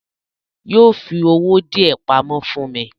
Yóò fi owó díẹ̀ pamọ́ fún mi.